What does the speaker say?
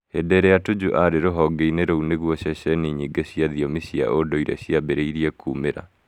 Hĩndĩ ĩrĩa Tuju arĩ ruhongeinĩ rũu nĩgũo ceceni nyingĩ cĩa thiomi cia unduĩre cia-ambirie kũmera